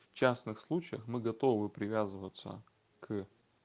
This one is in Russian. в частных случаях мы готовы привязываться к